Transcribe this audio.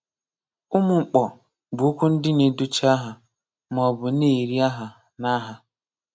Umụmkpọ bụ okwu ndị na-edochi aha ma ọ bụ na-eri aha na aha.